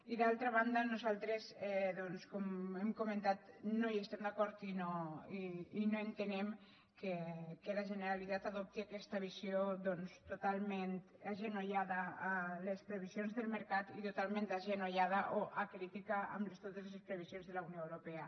i d’altra banda nosaltres com hem comentat no hi estem d’acord i no entenem que la generalitat adopti aquesta visió totalment agenollada a les previsions del mercat i totalment agenollada o acrítica amb totes les previsions de la unió europea